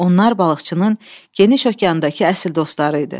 Onlar balıqçının geniş okeandakı əsl dostları idi.